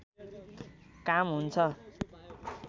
काम हुन्छ